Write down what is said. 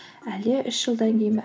әлде үш жылдан кейін бе